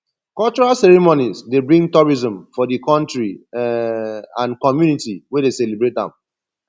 cultural ceremonies dey bring tourism for di country um and community wey dey celebrate am